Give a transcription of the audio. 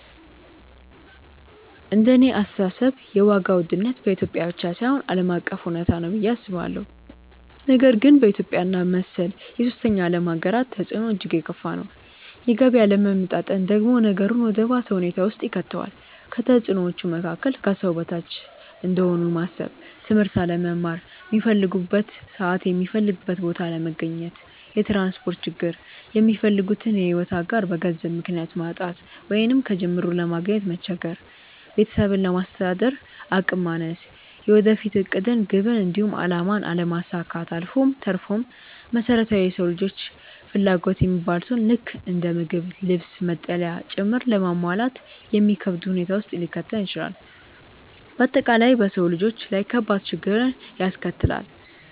እንደኔ አስተሳሰብ የዋጋ ውድነት በኢትዮጵያ ብቻ ሳይሆን ዓለም አቀፍ እውነታ ነው ብዬ አስባለሁ፤ ነገር ግን በኢትዮጵያ እና መሰል የሶስተኛ ዓለም ሃገራት ተፅዕኖው እጅግ የከፋ ነው። የገቢ አለመመጣጠን ደግሞ ነገሩን ወደ ባሰ ሁኔታ ውስጥ ይከተዋል። ከተፅዕኖዎቹ መካከል፦ ከሰው በታች እንደሆኑ ማሰብ፣ ትምህርት አለመማር፣ ሚፈልጉበት ሰዓት የሚፈልጉበት ቦታ አለመገኘት፣ የትራንስፖርት ችግር፣ የሚፈልጉትን የሕይወት አጋር በገንዘብ ምክንያት ማጣት ወይንም ከጅምሩ ለማግኘት መቸገር፣ ቤተሰብን ለማስተዳደር አቅም ማነስ፣ የወደፊት ዕቅድን፣ ግብን፣ እንዲሁም አላማን አለማሳካት አልፎ ተርፎም መሰረታዊ የሰው ልጆች ፍላጎት የሚባሉትን ልክ እንደ ምግብ፣ ልብስ፣ መጠለያ ጭምር ለማሟላት የሚከብድ ሁኔታ ውስጥ ሊከተን ይችላል። በአጠቃላይ በሰው ልጆች ላይ ከባድ ችግርን ያስከትላል።